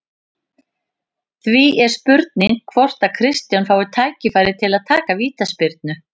Því er spurning hvort að Kristján fái tækifæri til að taka vítaspyrnu?